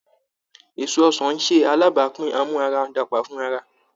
Èso ọsàn ń ṣe alábàápín amu ara dàgbà fún ara